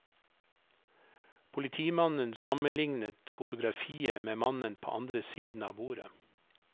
Politimannen sammenliknet fotografiet med mannen på andre siden av bordet.